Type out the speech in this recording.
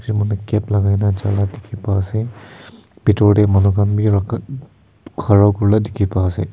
etu mota cap lagai na jai na dikhi pa ase bithor teh manu khan khara kuri na dikhi pa ase.